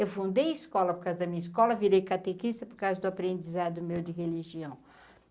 Eu fundei a escola por causa da minha escola, virei catequista por causa do aprendizado meu de religião.